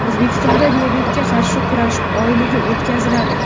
O‘zbekistonda diabetga qarshi kurash oyligi o‘tkaziladi.